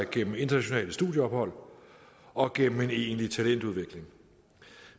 gennem internationale studieophold og gennem en egentlig talentudvikling